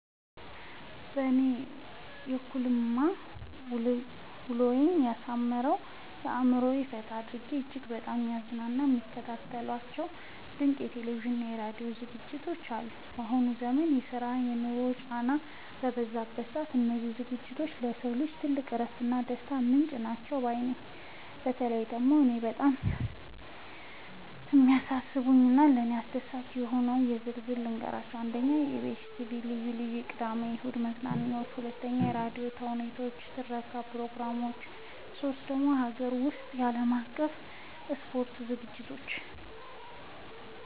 በእኔ በኩልማ ውሎዬን አሳምረው፣ አእምሮዬን ፈታ አድርገው እጅግ በጣም የሚያዝናኑኝና የምከታተላቸው ድንቅ የቴሌቪዥንና የራዲዮ ዝግጅቶች አሉኝ! ባሁኑ ዘመን የስራና የኑሮ ጫናው በበዛበት ሰዓት፣ እነዚህ ዝግጅቶች ለሰው ልጅ ትልቅ የእረፍትና የደስታ ምንጭ ናቸው ባይ ነኝ። በተለይ እኔን በጣም የሚስቡኝንና ለእኔ አስደሳች የሆኑትን በዝርዝር ልንገራችሁ፦ 1. የኢቢኤስ (EBS TV) ልዩ ልዩ የቅዳሜና እሁድ መዝናኛዎች 2. የራዲዮ ተውኔቶችና የትረካ ፕሮግራሞች 3. የሀገር ውስጥና የዓለም አቀፍ የስፖርት ዝግጅቶች